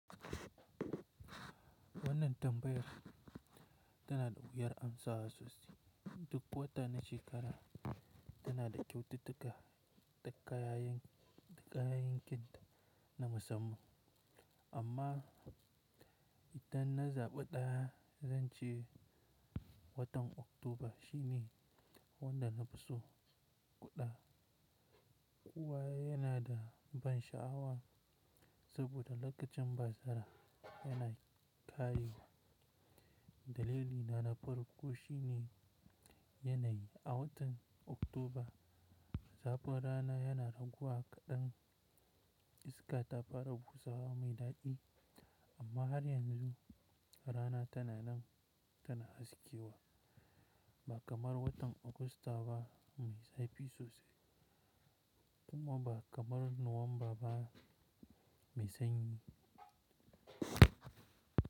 Wannan tambayar tana da wuyar amsa sosai. Duk wata na shekara tana da kyaututtuka da ƙayayyen kind na musamman, amma idan na zaɓa ɗaya, zan ce watan Oktoba shi ne wanda na fi so ƙuda. Kuwa yana da ban sha'awa saboda lokacin bazara yana ƙarewa. Dalili na na farko shi ne yanayi. A watan Oktoba, zafin rana yana raguwa kaɗan, iska ta fara busawa mai daɗi, amma har yanzu rana tana nan tana haskewa, ba kamar watan Augusta ba mai zafi sosai kuma ba kamar Nuwamba ba mai sanyi.